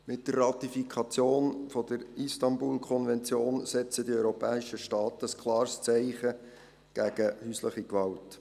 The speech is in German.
Mit der Ratifikation der Istanbul-Konvention setzen die europäischen Staaten ein klares Zeichen gegen häusliche Gewalt.